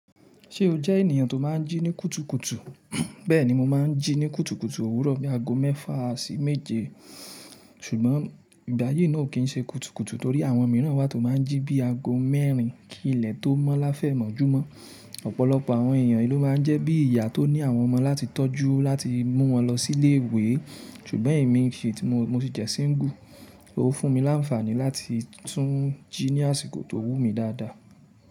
Ṣé o jẹ́ ènìyàn tó máa ń jí ní kùtùkùtù? Bẹ́ẹ̀ni mo máa ń jí ní kùtùkùtù òwúrọ̀ bí i aago mẹ́fà sí méje. Ṣùgbọ́n ìgbáyi náà kì í ṣe kùtùkùtù torí àwọn mìíràn wa tó máa ń jí bí i aago mẹ́rin. Kí ilẹ̀ tó mọ́ láfẹ̀mọ́júmọ́. Ọ̀pọ̀lọpọ̀ àwọn ènìyàn lo máa ń jẹ́ bí ìyá tó ní àwọn ọmọ láti tọ́jú láti mú wọn lọ sí ilé ìwé. Ṣùgbọ́n èmi kì í ṣe, mo sì jẹ́ síngú. Ó fún mi láǹfààní láti tún jí ní àsìkò tó wú mi dáadáa.